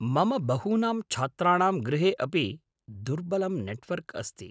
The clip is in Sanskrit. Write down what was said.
मम बहूनां छात्राणां गृहे अपि दुर्बलं नेट्वर्क् अस्ति।